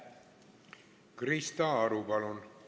Krista Aru, palun!